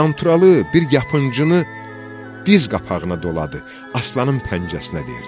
Qanturalı bir yapıncını diz qapağına doladı, aslanın pəncəsinə verdi.